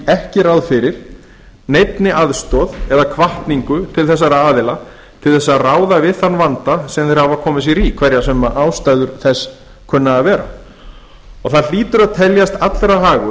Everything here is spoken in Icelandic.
ekki ráð fyrir neinni aðstoð eða hvatningu til þessara aðila til þess að ráða við þann vanda sem þeir hafa komið sér í hverjar sem ástæður þess kunna að vera og það hlýtur að teljast allra hagur